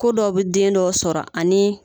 Ko dɔ bɛ den dɔ sɔrɔ ani